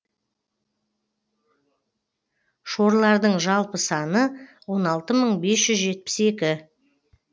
шорлардың жалпы саны он алты мың бес жүз жетпіс екі